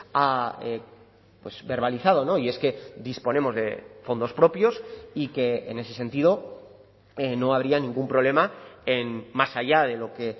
ha verbalizado y es que disponemos de fondos propios y que en ese sentido no habría ningún problema en más allá de lo que